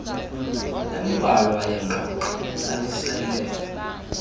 embalwa yengoxo lalisele